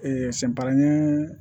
sɛ baranin